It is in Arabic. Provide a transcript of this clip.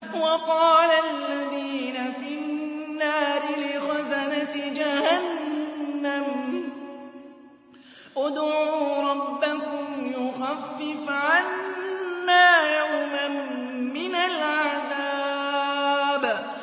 وَقَالَ الَّذِينَ فِي النَّارِ لِخَزَنَةِ جَهَنَّمَ ادْعُوا رَبَّكُمْ يُخَفِّفْ عَنَّا يَوْمًا مِّنَ الْعَذَابِ